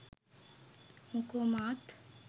මොකෝ මාත්